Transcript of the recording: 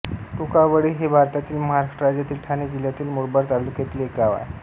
टोकावडे हे भारतातील महाराष्ट्र राज्यातील ठाणे जिल्ह्यातील मुरबाड तालुक्यातील एक गाव आहे